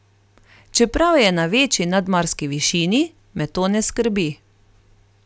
Čeprav je na večji nadmorski višini, me to ne skrbi.